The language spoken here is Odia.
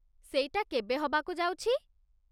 ସେଇଟା କେବେ ହବାକୁ ଯାଉଛି?